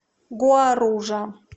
гуаружа